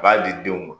A b'a di denw ma